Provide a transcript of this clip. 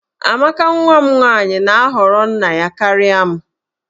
Amaka nwa m nwaanyị na-ahọrọ nna ya karịa m